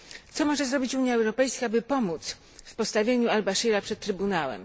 Co może zrobić Unia Europejska, by pomóc w postawieniu al Bashira przed trybunałem?